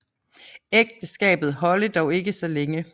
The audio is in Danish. Ægteskabet holde dog ikke så længe